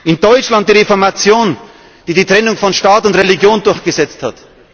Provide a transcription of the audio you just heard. In Deutschland die Reformation, die die Trennung von Staat und Religion durchgesetzt